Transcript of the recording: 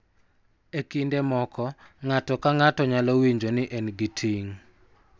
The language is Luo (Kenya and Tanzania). E kinde moko, ng�ato ka ng�ato nyalo winjo ni en gi ting� .